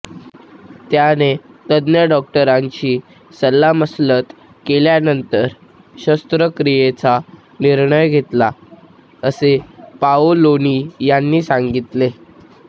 त्याने तज्ञ डॉक्टरांशी सल्लामसलत केल्यानंतर शस्त्रक्रियेचा निर्णय घेतला असे पाओलोनी यांनी सांगितले